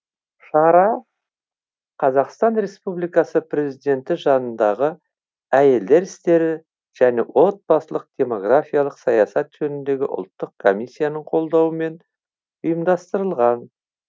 шара қазақстан республикасы президенті жанындағы әйелдер істері және отбасылық демографиялық саясат жөніндегі ұлттық комиссияның қолдауымен ұйымдастырылған